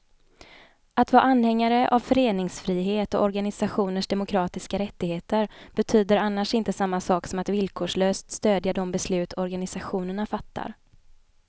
Att vara anhängare av föreningsfrihet och organisationers demokratiska rättigheter betyder annars inte samma sak som att villkorslöst stödja de beslut organisationerna fattar.